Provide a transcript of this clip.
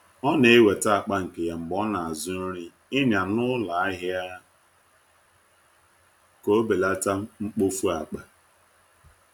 O na-eweta akpa nke ya mgbe ọ na-azụ nri ịnya n’ụlọ ahịa ka o belata mkpofu akpa.